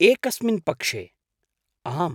एकस्मिन् पक्षे, आम्।